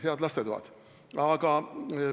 Head lastetoad!